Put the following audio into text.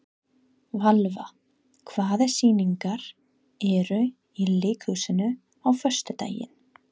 Valva, hvaða sýningar eru í leikhúsinu á föstudaginn?